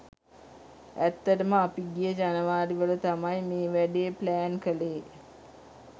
ඇත්තටම අපි ගිය ජනවාරි වල තමයි මේ වැඩේ ප්ලෑන් කලේ.